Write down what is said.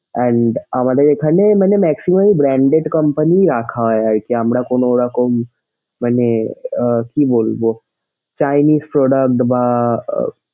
and আমাদের এখানে মানে maximum ই branded company রাখা হয় আরকি আমরা কোনোরকম মানে আহ কি বলবো chiniese product বা,